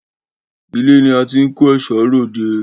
Ilé ni a ti ń kẹ́ṣọ̀ọ́ ròde.